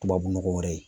Tubabu nɔgɔ wɛrɛ ye